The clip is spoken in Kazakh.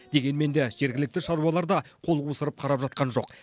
дегенмен де жергілікті шаруалар да қол қусырып қарап жатқан жоқ